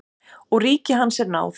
Og ríki hans er náð.